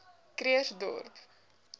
krugersdorp